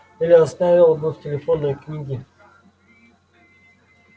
или оставил бы в телефонной книге